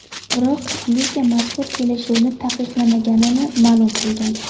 Biroq liga mazkur kelishuvni taqiqlamaganini ma’lum qilgan.